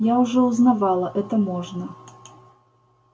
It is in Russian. я уже узнавала это можно